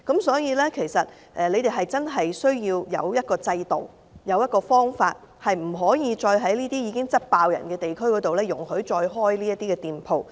所以，政府真的需要有制度或方法，不能再容許在這些已經十分多人的地區開設這些店鋪。